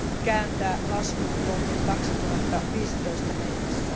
kääntää laskuun vuoteen 2015 mennessä.